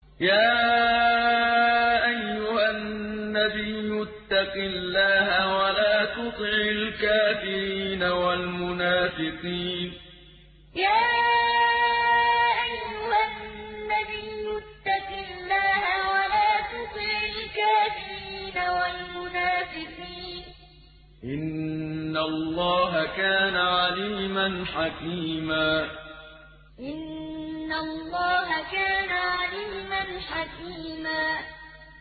يَا أَيُّهَا النَّبِيُّ اتَّقِ اللَّهَ وَلَا تُطِعِ الْكَافِرِينَ وَالْمُنَافِقِينَ ۗ إِنَّ اللَّهَ كَانَ عَلِيمًا حَكِيمًا يَا أَيُّهَا النَّبِيُّ اتَّقِ اللَّهَ وَلَا تُطِعِ الْكَافِرِينَ وَالْمُنَافِقِينَ ۗ إِنَّ اللَّهَ كَانَ عَلِيمًا حَكِيمًا